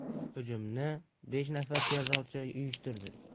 Hujumni besh nafar terrorchi uyushtirdi.